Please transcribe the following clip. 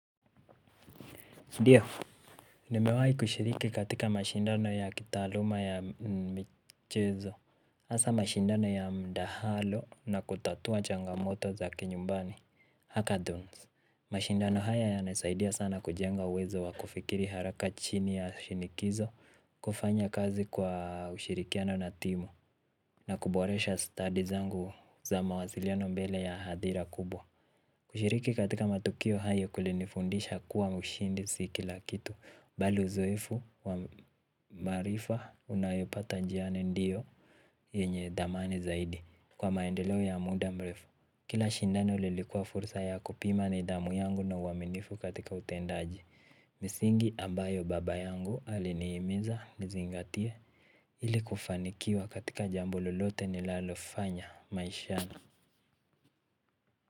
Nimewahi kushiriki katika mashindano ya kitaaluma ya michezo hasa mashindano ya mdahalo na kutatua changamoto za kinyumbani Hakaduns. Mashindano haya yanasaidia sana kujenga uwezo wa kufikiri haraka chini ya shinikizo. Kufanya kazi kwa ushirikiano na timu na kuboresha stadi zangu za mawasiliano mbele ya hadhira kubwa. Kushiriki katika matukio hayo kulinifundisha kuwa ushindi si kila kitu bali uzoefu wa maarifa unayopata njiani ndio yenye dhamani zaidi kwa maendeleo ya muda mrefu kila shindano lilikuwa fursa ya kupima na nidhamu yangu na uaminifu katika utendaji misingi ambayo baba yangu alinihimiza nizingatie ili kufanikiwa katika jambo lolote nilalofanya maishani.